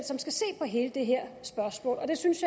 som skal se på hele det her spørgsmål og jeg synes